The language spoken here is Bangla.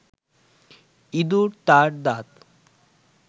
ইঁদুর তার দাঁত